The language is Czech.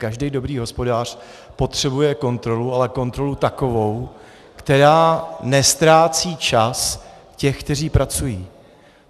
Každý dobrý hospodář potřebuje kontrolu, ale kontrolu takovou, která neztrácí čas těch, kteří pracují.